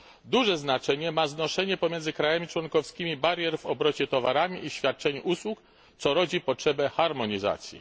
Duże znaczenie ma znoszenie pomiędzy krajami członkowskimi barier w obrocie towarami i świadczeniu usług, co rodzi potrzebę harmonizacji.